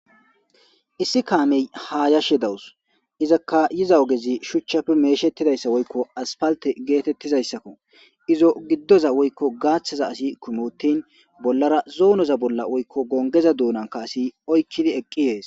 issi kaamey hayashe dawus izakka yiza ogezi shuchchafe meeshettidayssa woykko aspalte geetettizayssakko izo giddoza woykko gaaththaza asi kumi uttin bollara zoonoza bolla woykko gongeza duunanka asi oykkidi eqqi yees